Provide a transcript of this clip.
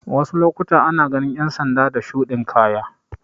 Wasu lokutan ana ganin ƴan sanda da shuɗin kaya